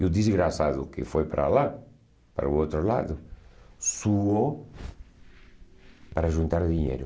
E o desgraçado que foi para lá, para o outro lado, suou para juntar dinheiro.